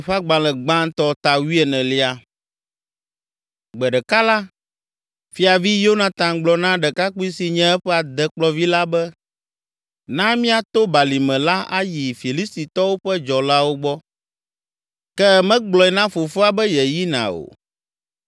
Gbe ɖeka la, Fiavi Yonatan gblɔ na ɖekakpui si nye eƒe adekplɔvi la be, “Na míato balime la ayi Filistitɔwo ƒe dzɔlawo gbɔ.” Ke megblɔe na fofoa be yeyina o.